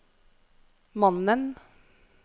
mannen